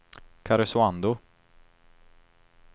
Karesuando